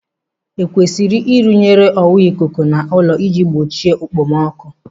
Ekwesịrị irụnyere ọwa ikuku n'ụlọ ị ji gbochie okpomọkụ?